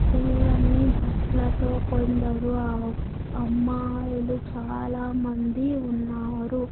తెల్లని బట్లతో కొందరు ఆమ్ అమ్మాయిలు చాలామంది ఉన్నారు.